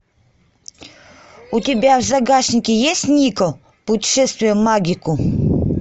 у тебя в загашнике есть нико путешествие в магику